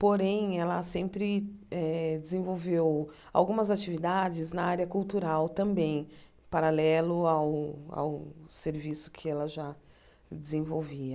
Porém, ela sempre eh desenvolveu algumas atividades na área cultural também, paralelo ao ao serviço que ela já desenvolvia.